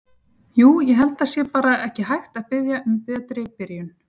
Jú ég held að það sé bara ekki hægt að biðja um betri byrjun.